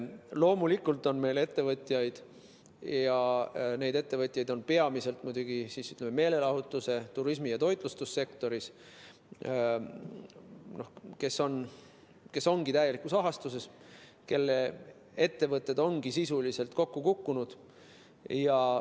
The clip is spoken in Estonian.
Loomulikult on ettevõtjaid – need on peamiselt muidugi meelelahutus‑, turismi‑ ja toitlustussektori ettevõtjad –, kes ongi täielikus ahastuses ja kelle ettevõtted ongi sisuliselt kokku kukkunud.